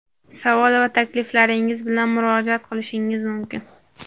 Savol va takliflaringiz bilan murojaat qilishingiz mumkin.